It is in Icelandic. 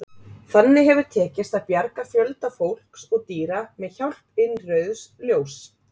Þannig hefur tekist að bjarga fjölda fólks og dýra með hjálp innrauðs ljóss.